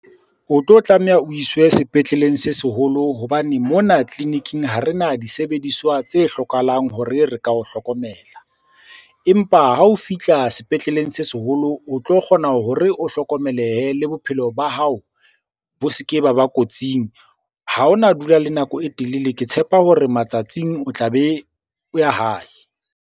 O tlo tlameha o iswe sepetleleng se seholo hobane mona tleliniking ha re na disebediswa tse hlokahalang hore re ka o hlokomela. Empa ha o fihla sepetleleng se seholo o tlo kgona hore o hlokomelehe le bophelo ba hao bo se ke ba ba kotsing. Ha hona dula le nako e telele. Ke tshepa hore matsatsing o tlabe o ya hae.